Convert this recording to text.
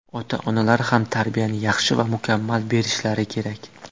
Ota-onalar ham tarbiyani yaxshi va mukammal berishlari kerak.